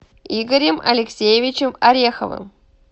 игорем алексеевичем ореховым